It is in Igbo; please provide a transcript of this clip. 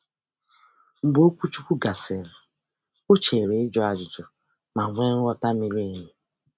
Mgbe okwuchukwu gasịrị, ọ cheere ị jụ ajụjụ ma nwe nghọta miri emi.